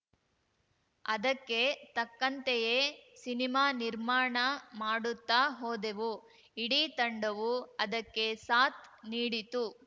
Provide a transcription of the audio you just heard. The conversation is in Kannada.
ಅದಕ್ಕೆ ತಕ್ಕಂತೆಯೇ ಸಿನಿಮಾ ನಿರ್ಮಾಣ ಮಾಡುತ್ತಾ ಹೋದೆವು ಇಡೀ ತಂಡವೂ ಅದಕ್ಕೆ ಸಾಥ್‌ ನೀಡಿತು